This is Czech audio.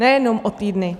Nejenom o týdny.